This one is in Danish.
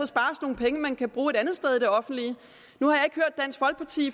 spares nogle penge man kan bruge et andet sted i det offentlige